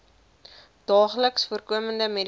daagliks voorkomende medikasie